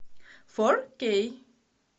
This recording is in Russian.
фор кей